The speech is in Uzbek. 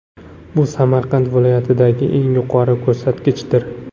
Bu Samarqand viloyatidagi eng yuqori ko‘rsatkichdir.